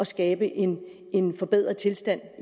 skabe en en forbedret tilstand